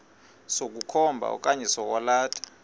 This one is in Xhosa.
sokukhomba okanye sokwalatha